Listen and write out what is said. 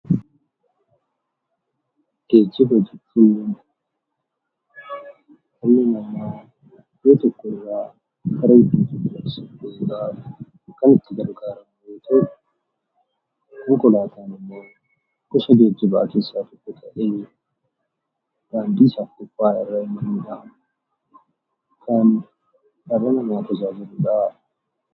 Geejjiba jechuun dhalli namaa iddoo tokkorraa gara biraatti deemuuf kan itti gargaaramu yoo ta'u, konkolaataan immoo gosa geejjibaa keessaa tokko ta'ee, daandii gubbaarra adeemuun kan dhala namaa fayyadudha